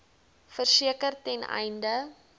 verseker ten einde